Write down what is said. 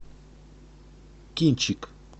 кинчик